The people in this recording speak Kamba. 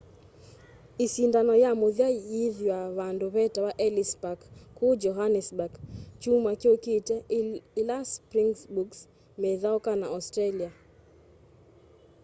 isindano ya muthya yiithwa vandu vetawa ellis park kuu johannesburg kyumwa kyukite ila springboks methauka na australia